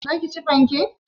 Zaka ci fanke?